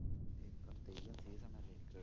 ഇപ്പം തെയ്യം season അല്ലേ?